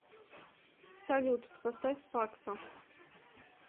салют поставь факсо